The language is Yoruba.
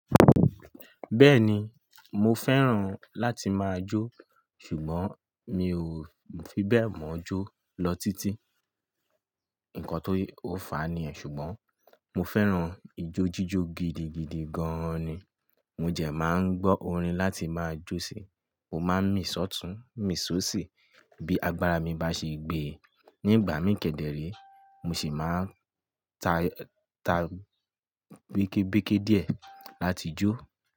Bẹ́ẹ̀ni, mo fẹ́ràn láti máa jó ṣùgbọ́n mi ò fi bẹ́ẹ̀ mọ̀ jó lọ títí. Ǹkan tó ò fàà níyen sùgbọ́n mo fẹ́ràn ijó jíjó gidigidi gan-an ni. Mò jẹ máa ń gbọ́ orin láti máa jó sí, mo máa ń mì sọ́tùn, mì sósì bí agbára mi bá ṣe gbé. Nígbà mí kéde ree mo sì máa ń ta békébéké díẹ̀ láti jó.